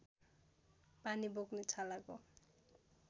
पानी बोक्ने छालाको